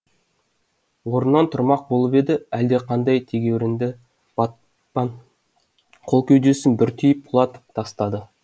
орнынан тұрмақ болып еді әлдеқандай тегеурінді батпан қол кеудесін бір түйіп құлатып тастады